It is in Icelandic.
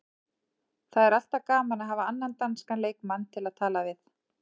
Það er alltaf gaman að hafa annan danskan leikmann til að tala við.